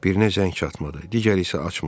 Birinə zəng çatmadı, digəri isə açmadı.